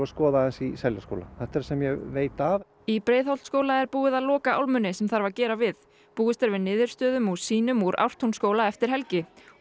að skoða aðeins í Seljaskóla þetta er það sem ég veit af í Breiðholtsskóla er búið að loka álmunni sem þarf að gera við búist er við niðurstöðum úr sýnum úr Ártúnsskóla eftir helgi